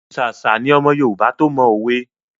Ṣàṣà ni ọmọ Yorùbá to mọ òwe.